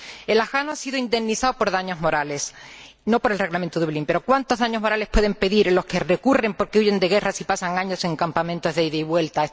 El ciudadano afgano ha sido indemnizado por daños morales, no por el Reglamento Dublín, pero ¿cuántos daños morales pueden pedir los que recurren porque huyen de guerras y pasan años en campamentos de ida y vuelta?